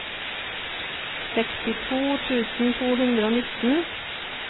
sekstito tusen to hundre og nitten